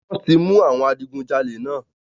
Wọ́n ti mú àwọn adigunjalè náà.